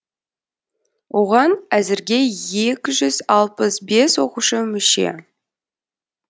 оған әзірге екі жүз алпыс бес оқушы мүше